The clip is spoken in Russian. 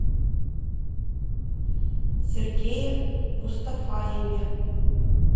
сергее мустафаеве